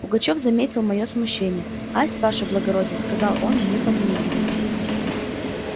пугачёв заметил моё смущение ась ваше благородие сказал он мне подмигивая